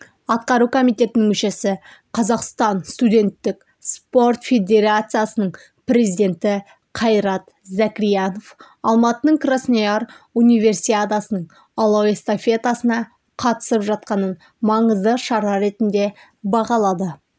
атқару комитетінің мүшесі қазақстан студенттік спорт федерациясының президенті қайрат закіриянов алматының краснояр универсиадасының алау эстафетасына қатысып жатқанын маңызды шара ретінде бағалады